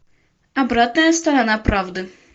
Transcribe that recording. обратная сторона правды